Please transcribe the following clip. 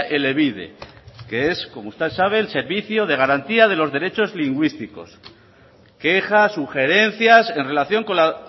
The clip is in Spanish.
elebide que es como usted sabe el servicio de garantía de los derechos lingüísticos quejas sugerencias en relación con la